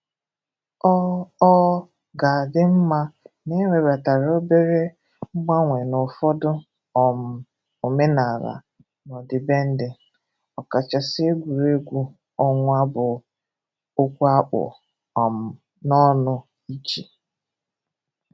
ọ ọ ga-adị mma na e webatara obere mgbanwe n’ụfọdụ um omenala na ọdịbendị, ọkachasị egwuregwu ọnwa bụ okwu akpù um n’ọnụ iji